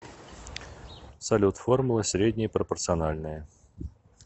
салют формула среднее пропорциональное